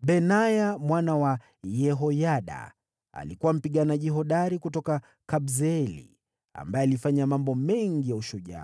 Benaya mwana wa Yehoyada alikuwa mpiganaji hodari kutoka Kabseeli ambaye alifanya mambo makubwa ya ujasiri.